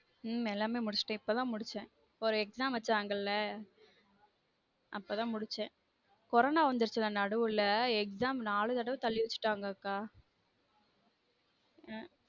உம் எல்லாமே முடிச்சுட்டன் இப்ப தான் முடிச்சன் ஒரு exam வச்சாங்கல அப்ப தான் முடிச்சன் corona வந்துடுச்சுல நடுவுல exam நாலு தடவ தள்ளி வச்சுட்டாங்க